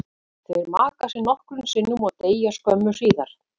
Þeir maka sig nokkrum sinnum og deyja skömmu síðar.